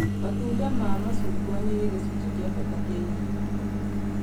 Matunda ma macungwa nĩ gĩcunji kĩa bata kĩa irio